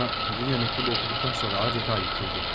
Ama Dünya mektubu okuduktan sonra adeta yıkıldı.